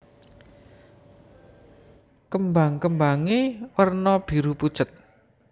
Kembang kembangé werna biru pucet